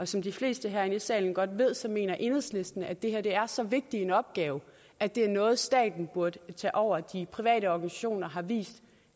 som de fleste herinde i salen godt ved så mener enhedslisten at det her er så vigtig en opgave at det er noget staten burde tage over for de private organisationer har vist